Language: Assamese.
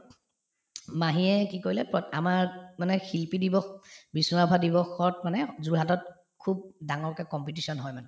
মাহীয়ে কি কৰিলে প্ৰত আমাৰ মানে শিল্পী দিৱস, বিষ্ণু ৰাভা দিৱসত মানে যোৰহাটত খুব ডাঙৰকে competition হয় মানে